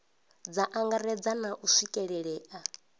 dza angaredza na u swikelelea